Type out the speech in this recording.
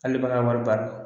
Hali baga wari bara